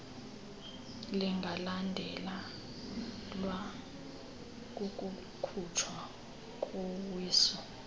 lingalandelwa kukukhutshwa kowiso